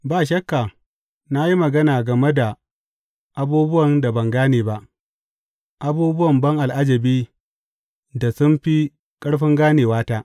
Ba shakka na yi magana game da abubuwan da ban gane ba, abubuwan ban al’ajabi da sun fi ƙarfin ganewata.